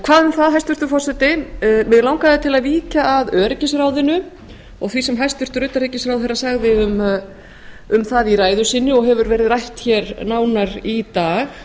hvað um það hæstvirtur forseti mig langaði til að víkja að öryggisráðinu og því sem hæstvirtur utanríkisráðherra sagði um það í ræðu sinni og hefur verið rætt hér nánar í dag